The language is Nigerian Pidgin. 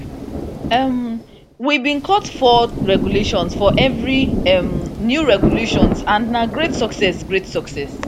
um we bin cut four regulations for evri um new regulations and na great success great success